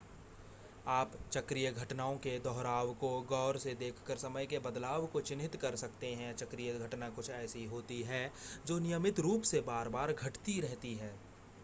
आप चक्रीय घटनाओं के दोहराव को ग़ौर से देखकर समय के बदलाव को चिन्हित कर सकते हैं चक्रीय घटना कुछ ऐसी होती है जो नियमित रूप से बार-बार घटती रहती है